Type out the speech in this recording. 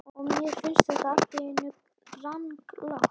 Og mér finnst þetta allt í einu ranglátt.